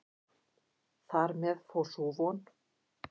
Þar með fór sú von.